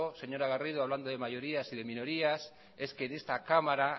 señora garrido hablando de mayorías y de minorías es que en esta cámara